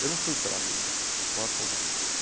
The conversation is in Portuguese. Eu não fui para a Liga com a Tom Maior.